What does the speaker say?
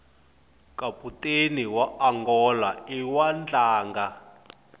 kaputeni waangola iwadlanga